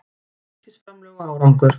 Ríkisframlög og árangur